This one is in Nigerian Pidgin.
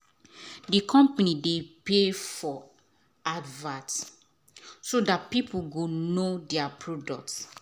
the company dey pay for advert so that people go know there product.